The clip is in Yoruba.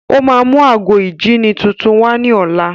Ó máa mú ago ìjíni tuntun wá ní ọ̀la.